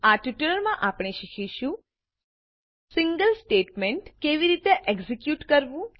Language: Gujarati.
આ ટ્યુટોરીયલમાં આપણે શીખીશું સિંગલ સ્ટેટમેન્ટ કેવી રીતે એક્ઝેક્યુટ કરવું